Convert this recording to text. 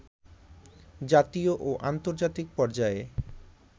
জাতীয় ও আন্তর্জাতিক পর্যায়ে